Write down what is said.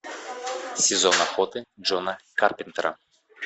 сезон охоты джона карпентера